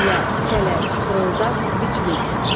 Hiylə, kələk, fırıldaq, biclik.